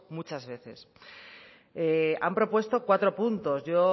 muchas veces han propuesto cuatro puntos yo